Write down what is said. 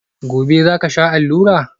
Gobe ​​zaka sha allura?